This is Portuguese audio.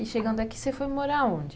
E chegando aqui, você foi morar onde?